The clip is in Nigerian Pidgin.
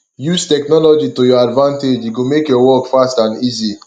use technology to your advantage e go make your work fast and easy